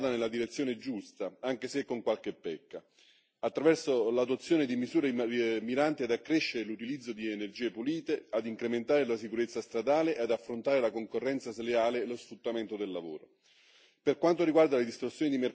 Mi sembra che il pacchetto adottato vada nella direzione giusta, anche se con qualche pecca, attraverso l'adozione di misure miranti ad accrescere l'utilizzo di energie pulite, ad incrementare la sicurezza stradale e ad affrontare la concorrenza sleale e lo sfruttamento del lavoro.